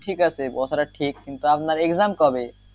ঠিক আছে কথাটা ঠিক কিন্তু আপনার exam কবে?